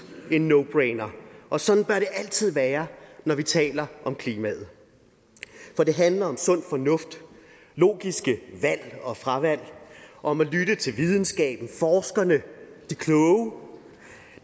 en no brainer og sådan bør det altid være når vi taler om klimaet for det handler om sund fornuft logiske valg og fravalg og om at lytte til videnskaben forskerne